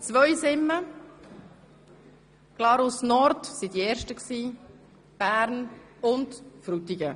Zweisimmen und Glarus Nord waren die ersten, danach folgten Bern, und nun eben Frutigen.